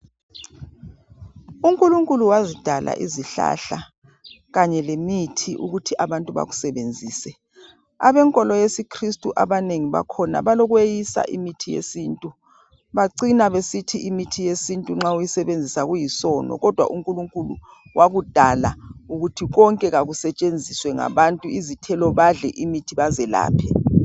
UNkulunkulu wazidala izihlahla kanye lemithi ukuthi abantu bakusebenzise. Abenkolo yesiKristu abanengi bakhona balokweyisa imithi yesintu. Bacina besithi imithi yesintu nxa uyisebenzisa kuyisono kodwa uNkulunkulu wakudala ukuthi konke kakusetshenziswe ngabantu izithelo badle imithi bazelaphe.